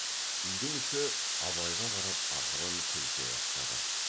үйдің іші абайға қарап ақырын күлісе бастады